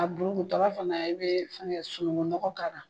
A bulukutɔ la fɛnɛ e bɛ fɛngɛ sunugunɔgɔ k'a la